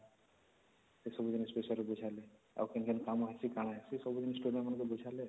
ସେ ସବୁ ଜିନିଷ ବିଷୟରେ ବୁଝିବା ଲାଗି ଆଉ କେନ କେନ କାମ ଅଛି କଣ ଅଛି ସବୁ ଜିନିଷ ବୁଝିବା ଲାଗି